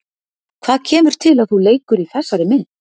Hvað kemur til að þú leikur í þessari mynd?